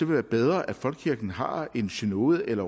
være bedre at folkekirken har en synode eller